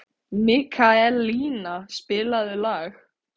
Mikaelína, spilaðu lag.